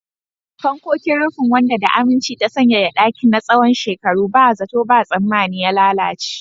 Fankokin rufin, wanda da aminci ta sanyaya ɗakin na tsawon shekaru, ba zato ba tsammani ya lalace.